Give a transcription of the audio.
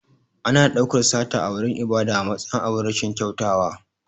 Ana ɗaukar sata a wurin ibada a matsayin abin rashin kyautawa.